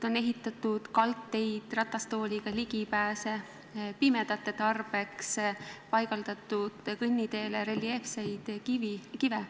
On ehitatud kaldteid, ratastooliga ligipääse, pimedate tarbeks on paigaldatud kõnniteele reljeefseid kive.